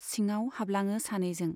सिङाव हाबलाङो सानैजों।